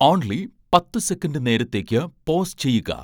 only പത്ത് second നേരത്തേയ്ക്ക് pause ചെയ്യുക